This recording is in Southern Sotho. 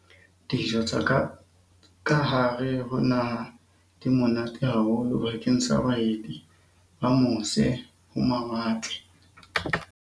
Dijo tsa kahare ho naha di monate haholo bakeng sa baeti ba mose-ho-mawatle